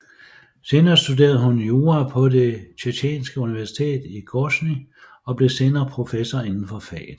Senere studerede hun jura på Det Tjetjenske Universitet i Grosnij og blev senere professor indenfor faget